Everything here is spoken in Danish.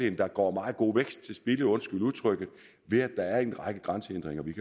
at der går meget god vækst til spilde undskyld udtrykket ved at der er en række grænsehindringer vi